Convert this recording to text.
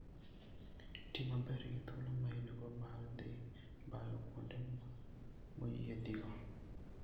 Ti maber gi thuolo ma in-go mar dhi bayo kuonde moyiedhigo.